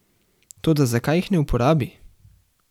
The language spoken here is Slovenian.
Toda zakaj jih ne uporabi?